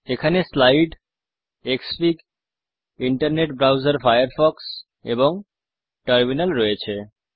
এখানে slide Xfig internet browser Firefox এবং terminal রয়েছে